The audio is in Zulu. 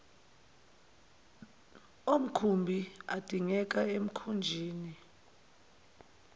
omkhumbi adingekayo emkhunjini